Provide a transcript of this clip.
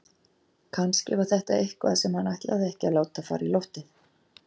Kannski var þetta eitthvað sem hann ætlaði ekki að láta fara í loftið.